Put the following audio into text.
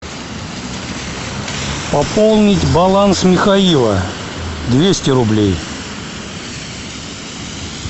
пополнить баланс михаила двести рублей